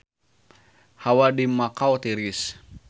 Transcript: Hawa di Makau tiris